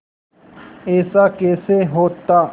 ऐसा कैसे होता